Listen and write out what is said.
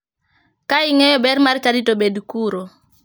Ka ing'eyo ber mar chadi to bed kuro.